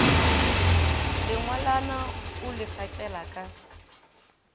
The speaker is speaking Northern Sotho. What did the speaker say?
lengwalwana o le fakela ka